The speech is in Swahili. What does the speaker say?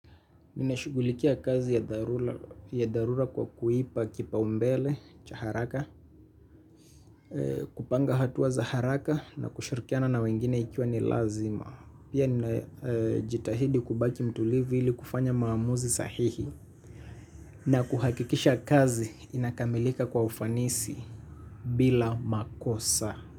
Ninashughulikia kazi ya dharura kwa kuipa kipaumbele, cha haraka, kupanga hatua za haraka na kushirikiana na wengine ikiwa ni lazima. Pia ninajitahidi kubaki mtulivu ili kufanya maamuzi sahihi na kuhakikisha kazi inakamilika kwa ufanisi bila makosa.